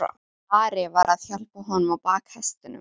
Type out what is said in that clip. Ari var að hjálpa honum á bak hestinum.